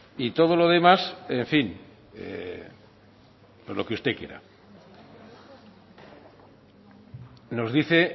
y todo lo demás en fin lo que usted quiera nos dice